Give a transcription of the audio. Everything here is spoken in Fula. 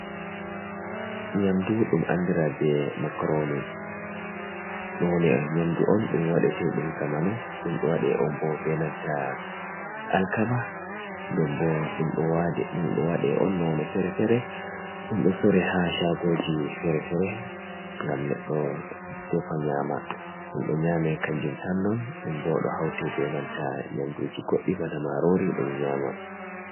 Nyamdu ɗum andira be macroni nyamdu on ɗum wadete ɗum zamanu ɗumɗo waɗe on bo be nanta alkama, den bo ɗum ɗo waɗe on nonde fere-fere ɗum ɗo sore ha shagoji fere-fere. Ngam neɗɗo defa nyama ɗum ɗo nyame kanjum tan non ɗum ɗo haute bo be nanta nyamduji goɗɗi bana marori ɗum nyama.